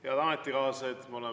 Head ametikaaslased!